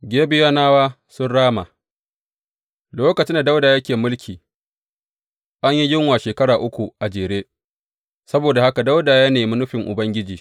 Gibeyonawa sun rama Lokacin da Dawuda yake mulki, an yi yunwa shekara uku a jere; saboda haka Dawuda ya nemi nufin Ubangiji.